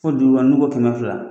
Ko duura nu ko kɛmɛ fila.